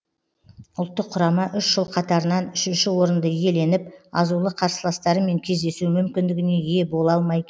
ұлттық құрама үш жыл қатарынан үшінші орынды иеленіп азулы қарсыластармен кездесу мүмкіндігіне ие бола алмай